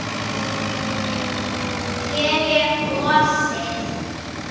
Ég er gosið.